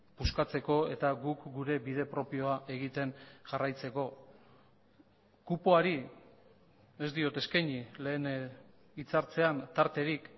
puskatzeko eta guk gure bide propioa egiten jarraitzeko kupoari ez diot eskaini lehen hitz hartzean tarterik